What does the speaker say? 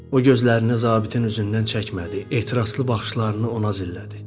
O gözlərini zabitin üzündən çəkmədi, etirazlı baxışlarını ona zillədi.